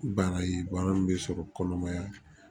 Bana ye bana min bɛ sɔrɔ kɔnɔmaya